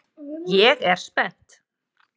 Ég er spennt.